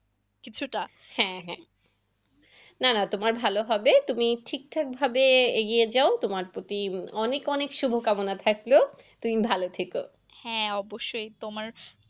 কিছুটা, হ্যাঁ হ্যাঁ না না তোমার ভালো হবে। তুমি ঠিকঠাক ভাবে এগিয়ে যাও। তোমার প্রতি অনেক অনেক শুভকামনা থাকল। তুমি ভালো থেকো। হ্যাঁ অবশ্যই তোমার,